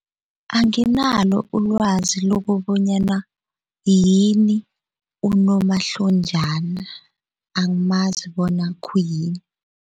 Anginalo ulwazi lokobonyana yini unomahlonjana angimazi bona khuyini.